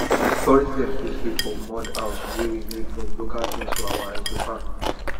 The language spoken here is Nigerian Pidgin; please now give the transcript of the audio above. tourists dem fit sleep for mud house wey we make from local things for our ecofarm